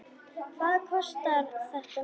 Hvað kostar þetta mikið?